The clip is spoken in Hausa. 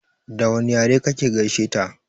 Da wane yare ka gaishe ta?